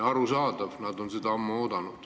Arusaadav, nad on seda ammu oodanud.